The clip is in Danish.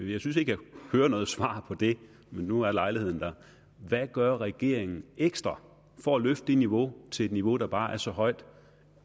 jeg synes ikke jeg hører noget svar på det men nu er lejligheden der hvad gør regeringen ekstra for at løfte det niveau til et niveau der bare er så højt